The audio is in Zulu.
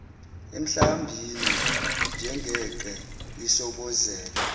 emhlambini njengenqe lisobozela